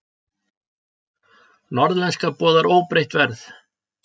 Norðlenska boðar óbreytt verð